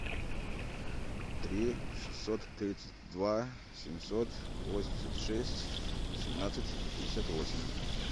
три шестьсот тридцать два семьсот восемьдесят шесть семнадцать пятьдесят восемь